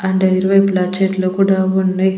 అంటే ఇరువైపులా చెట్లు కూడా ఉన్నై.